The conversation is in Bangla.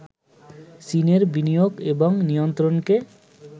চীনের বিনিয়োগ এবং নিয়ন্ত্রণকে